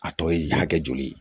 A tɔ ye hakɛ joli ye